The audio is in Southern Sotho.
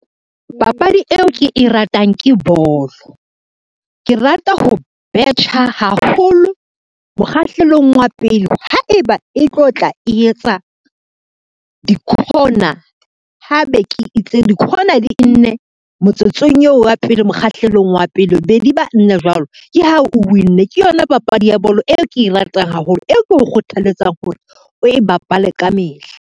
Papadi eo ke e ratang ke bolo. Ke rata ho betjha haholo mokgahlelong wa pele haeba e tlo tla e etsa di-corner, ha be ke itse di-corner dinne motsotsong yeo wa pele mokgahlelong wa pele, be di ba nna jwalo ke ha o win-nne. Ke yona papadi ya bolo eo ke e ratang haholo, e ke o kgothaletsa hore o e bapale ka mehla.